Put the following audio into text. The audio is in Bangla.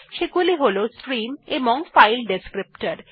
সেগুলি হল স্ট্রিম এবং ফাইল ডেসক্রিপ্টর